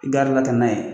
I garila kan ye